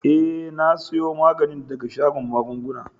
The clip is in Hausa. Eh, na siyo maganin daga shagon magunguna.